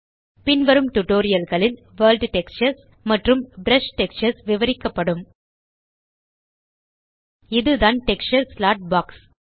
பின்வரும் டியூட்டோரியல் களில் world textures மற்றும் ப்ரஷ் டெக்ஸ்சர்ஸ் விவரிக்கப்படும் இதுதான் டெக்ஸ்சர் ஸ்லாட் பாக்ஸ்